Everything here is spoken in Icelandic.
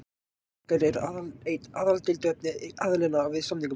Peningar eru aðaldeiluefni aðilanna við samningaborðið